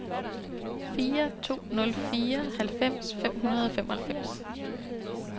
fire to nul fire halvfems fem hundrede og femoghalvfems